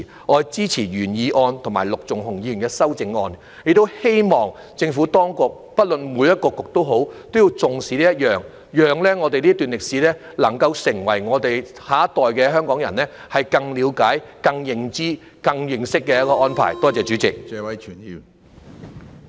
我支持原議案及陸頌雄議員的修正案，亦希望政府當局——不論是哪個局——也要重視此事，並作出安排，讓我們的下一代更了解、更認知、更認識這段歷史。